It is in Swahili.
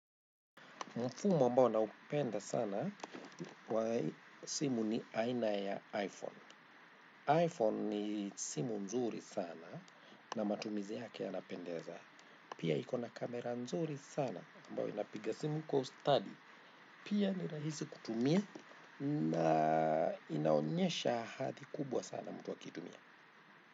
Mfumo ambao na upenda sana wa simu ni aina ya iPhone. iPhone ni simu nzuri sana na matumizi yake yanapendeza. Pia iko na kamera nzuri sana ambayo inapiga simu kwa ustadi. Pia ni rahisi kutumia na inaonyesha hathi kubwa sana mtu akiitumia.